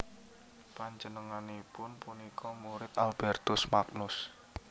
Panjenenganipun punika murid Albertus Magnus